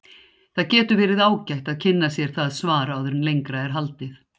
Það getur verið ágætt að kynna sér það svar áður en lengra er haldið.